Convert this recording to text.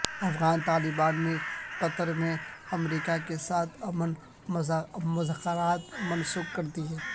افغان طالبان نے قطر میں امریکا کے ساتھ امن مذاکرات منسوخ کردیئے